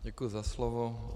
Děkuji za slovo.